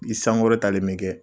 I sankɔrɔ talen bi kɛ